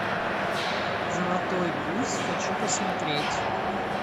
золотой гусь хочу посмотреть